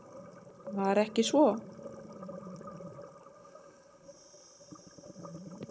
Var ekki svo?